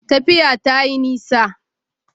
Tafiya ta yi nisa